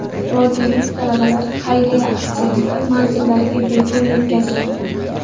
Vodiylik talabalar xayriya aksiyasida manzillariga bepul yetkazildi .